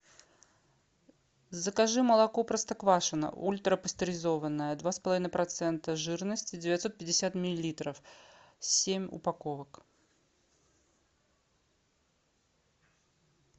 закажи молоко простоквашино ультрапастеризованное два с половиной процента жирности девятьсот пятьдесят миллилитров семь упаковок